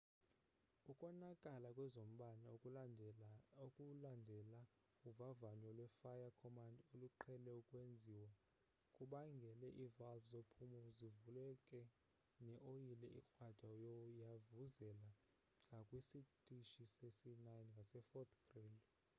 ukonakala kwezombane okulandela uvavanyo lwe-fire-command oluqhele ukwenziwa kubangele ii-valve zophumzo zivuleke ne oyile ekrwada yavuzela ngakwisitishi sesi-9 ngase-fort greely